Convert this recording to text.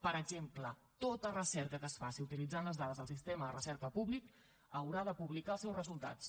per exemple tota recerca que es faci utilitzant les dades del sistema de recerca públic haurà de publicar els seus resultats